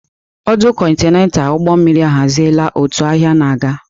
Ọdụ kontaịna ụgbọ mmiri ahaziela òtù ahịa na-aga.